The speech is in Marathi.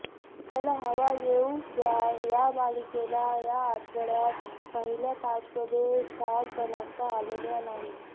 चला हवा येऊ द्या या मालिकेला या आठवड्यात पहिल्या पाचमध्ये स्थान बनवता आलेले नाहीये